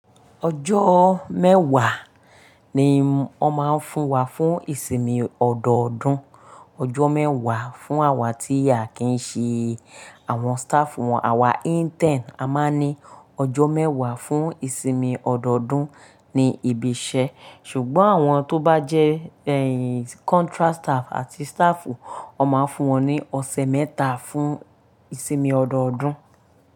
Ọjọ́ mẹ́wàá ni wọ́n máa ń fún wa fún ìsinmi ọdọọdún. Ọjọ́ mẹ́wàá fún àwa tí aà kìí ṣẹ àwọn staff wọn. Àwa intern a máa ń ní ọjọ́ mẹ́wàá fún ìsinmi ọdọọdún ni ibi iṣẹ́. Ṣùgbọ́n àwọn tó bá jẹ́ contract staff àti staff wọ́n máa ń fún wọn ní ọ̀sẹ̀ mẹ́ta fún ìsinmi ọdọọdún.